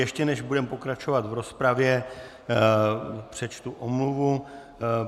Ještě než budeme pokračovat v rozpravě, přečtu omluvu.